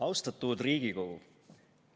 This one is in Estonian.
Austatud Riigikogu!